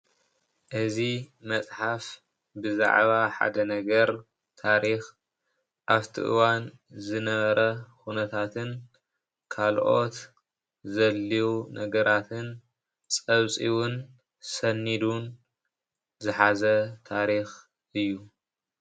እዚ መፅሓፍ ብዛዕባ ሓደ ነገር ታሪክ ኣብቲ እዋን ዝነበረ ኩነታትን ካልኦት ዘድልዩ ነገራትን ፀብፂቡን ሰኒዱን ዝሓዘ ታሪክ እዩ።